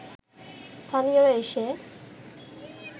স্থানীয়রা এসে